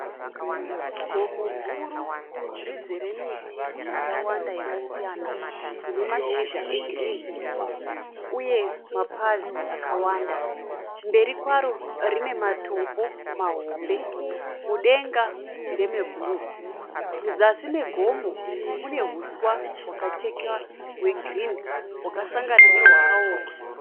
Gomo guru rizere miti yakawanda yakasiyana rine mashizha egirini uye mapazi akawanda. Mberi kwaro rine matombo mahombe mudenga ndeme bhuruu. Muzasi megomo mune huswa hwakachekwa hwegirini hwakasangana nehwakaoma